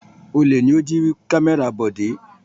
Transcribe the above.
Olè ni ó jí kámẹ́rà Bọ̀dé.